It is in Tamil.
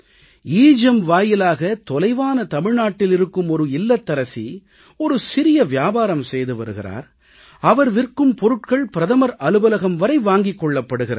எகெம் வாயிலாக தொலைவான தமிழ்நாட்டில் இருக்கும் ஒரு இல்லத்தரசி ஒரு சிறிய வியாபாரம் செய்து வருகிறார் அவர் விற்கும் பொருட்கள் பிரதமர் அலுவலகம் வரை வாங்கிக் கொள்ளப்படுகிறது